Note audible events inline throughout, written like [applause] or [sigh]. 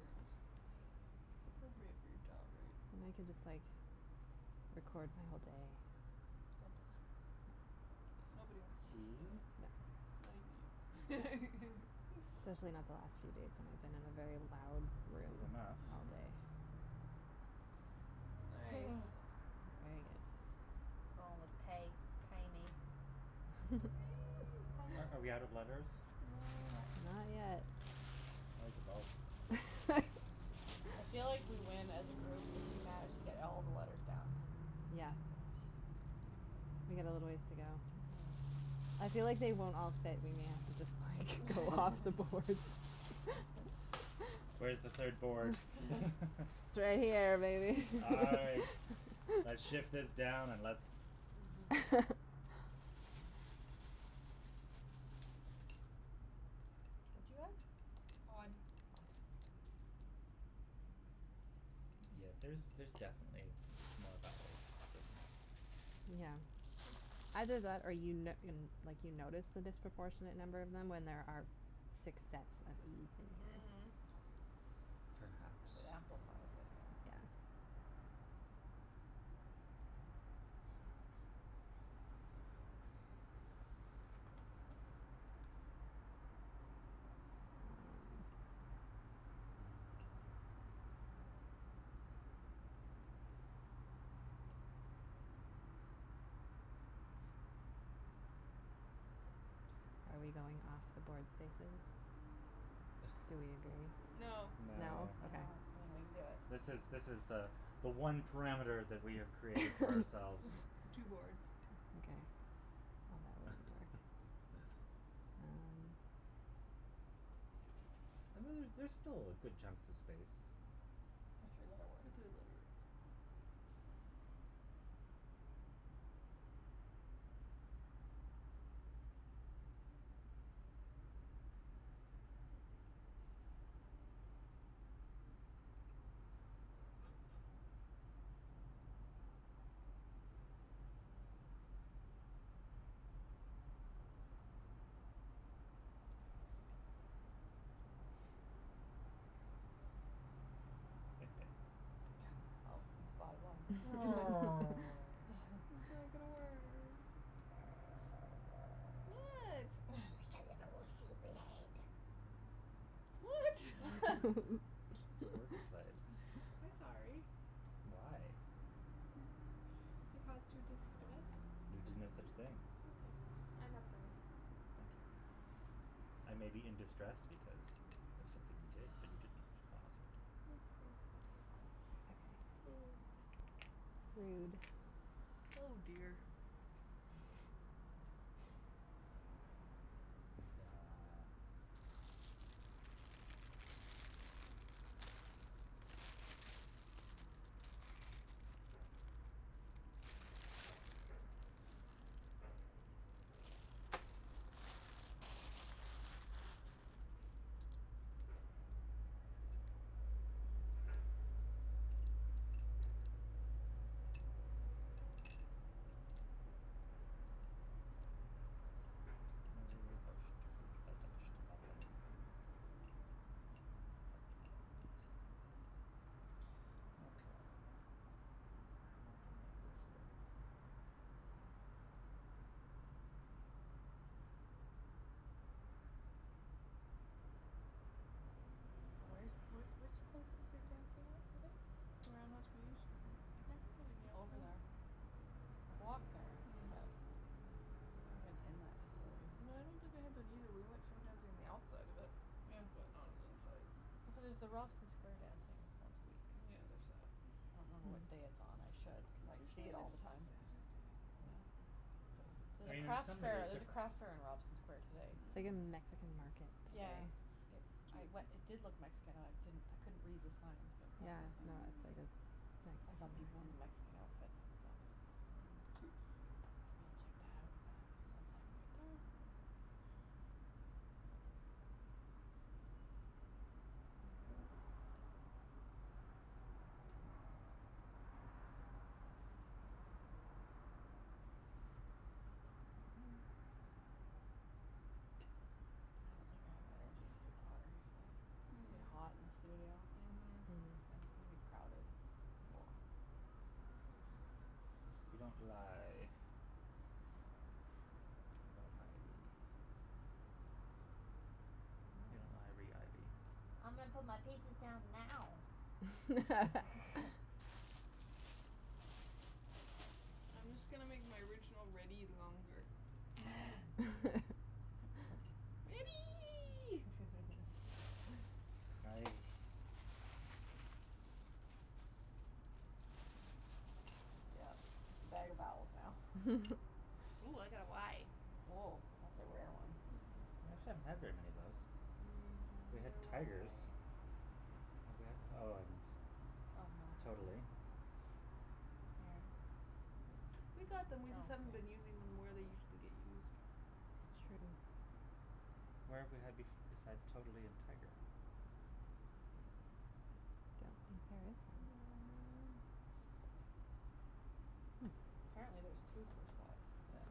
earrings. It's appropriate for your job, right? They can just, like, record my whole day. Don't do that. Nobody wants to see Tea. that, No. not even you. Especially not [laughs] the last few days when I've been in a very loud Is room enough. all Mhm. day. Nice. Hmm. Very good. Going with tae, tae me. [laughs] Are are we out of letters? No. No? No. Not yet. Like about [laughs] I feel like [laughs] we win as a group if we manage to get all of the letters down. Yeah. We got a little ways to go. Mhm. I feel like they won't all fit in the end, just like go off the boards. [laughs] [laughs] Where's the third board? [laughs] [laughs] It's right here, baby. All right, [laughs] let's shift [laughs] this down and let's [laughs] What do you have? Odd. Odd. Oh. Yeah, there's there's definitely m- more vowels hidden. Yeah. Either that, or you n- you n- like, you notice the disproportionate number of them when there are six sets of e's in there. Mhm. Perhaps. It amplifies it, yeah. Yeah. [noise] Are we going off the board spaces? Do we [laughs] agree? No. No. No? No. No, I Okay. don't think we can do it. This is this is the the one parameter that we have created for ourselves. [laughs] The two boards. [laughs] Okay, well, that wouldn't work. [laughs] Um And then there's still good chunks of space. For three letter For words. three letter words. [noise] [laughs] Well, he spotted one. [laughs] Oh. I'm sorry, I got a [laughs] word. [laughs] What? [laughs] [noise] What? [laughs] It's because of a word you [laughs] played. [laughs] I'm sorry. Why? I caused you distress. You did no such thing. Okay, I'm not sorry. Thank you. I may be in distress because of something you did, but you didn't cause it. Okay. Okay. Rude. [noise] Oh, dear. Duh. [inaudible] Okay. How to make this work. Where's where's where's the places Mm. you're dancing at today? Around [inaudible] In Over Yaletown. there. I've walked there. But Mm. I've never been in that facility. I don't think I have been, either. We went swing dancing on the outside of it, Yeah. but not on the inside. Here's the Robson square dancing once a week. Yeah, there's that. I don't know what day it's on, I should, cuz It's I see usually it a S- all the time. Saturday. Hmm. Yeah. I There's a mean, in crafts some fair, way it's there's a crafts fair differen- in Robson square yeah. today. It's like a Mhm. Mexican market Yeah. today. Yeah. I Cute. we- it did look Mexican I didn't I couldn't read the signs, but it Yeah, makes no, sense. it's Mhm. like a I saw people Mexican in a Mexican market. outfits and stuff. Cute. Maybe I'll check that out since I'm right there. [noise] [noise] I don't think I have energy to do pottery today. It'll be Mm. hot and [inaudible] Mhm. And [inaudible] crowded [noise] You don't lie about ivy. You know ivy, ivy. I'm gonna put my pieces down now. [laughs] [laughs] [laughs] I'm just gonna make my original ready longer. [laughs] [laughs] Ready! [laughs] Hi. Yeah, it's a better vowels now. [laughs] Ooh, I got a y. Oh, that's a rare one. I actually haven't had very many of those. Mm. I We had wonder why. tigers. Have we had Oh, and totally. Yeah. Yeah. We got them, we just Oh, haven't been using them yeah where they usually get [inaudible] used. It's true. Where have we had bef- besides totally and tiger? Don't think there is one. [noise] Hmm. Apparently there's two per set, so. Yeah.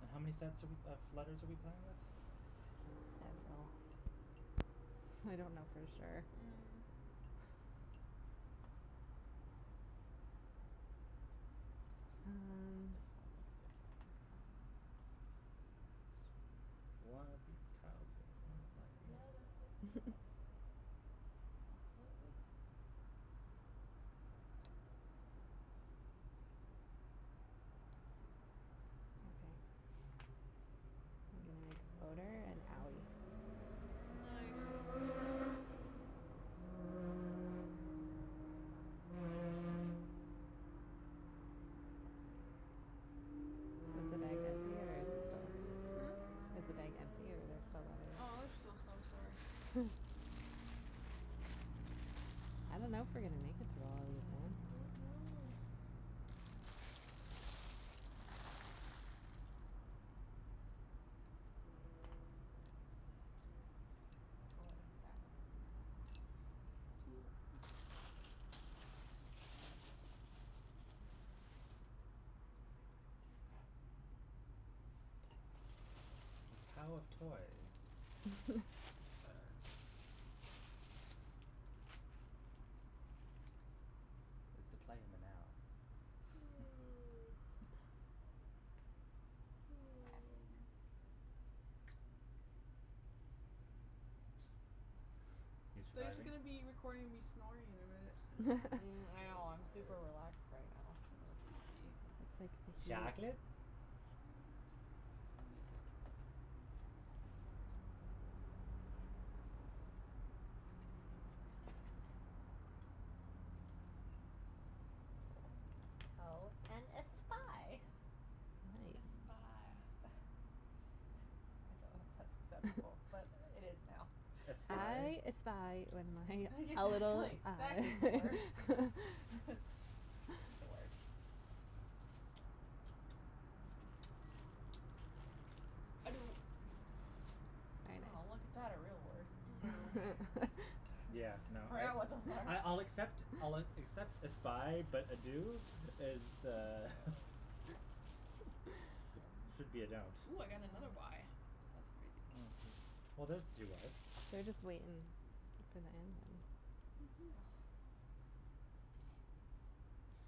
And how many sets are we of letters are we playing with? Several. I don't know for sure. Mhm. Mm. This kinda looks differently. Yes. One of these tiles is not like The the other. other. Yeah. [laughs] Completely. Okay. I'm gonna make odour and owee. Nice. Is the bag empty or is it Hmm? still Is the bag empty or are there still Oh, there's letters? still some. Sorry. Hmm. I don't know if we're gonna make it through all of these, man. Don't know. Mm. Toe and tao. Cool. [noise] The tao of toy. Sure. [laughs] Is the play in the now. [laughs] [noise] [laughs] You They're just surviving? gonna be recording me snoring in a minute. Mm. I So know. I'm [laughs] super tired. relaxed right now. So sleepy. [inaudible] It's like Chocolate? [inaudible] Tao and a spy. A Nice. spy. [laughs] I don't know if that's exact [inaudible] but it is [laughs] now. Espie? I espy when [laughs] my a little Exactly, exactly, it's a eye. word. [laughs] It's [laughs] a word. [noise] I do. Oh, look at Very nice. that. A real word. I know. [laughs] Yeah, [laughs] no, I I I'll accept [inaudible] I'll accept espie, but ado is uh should be a don't. Ooh, I got another y. That's crazy. Oh, well, there's the two y's. They're just waiting to put the end in. Mhm. Oh.